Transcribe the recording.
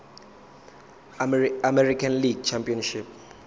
american league championship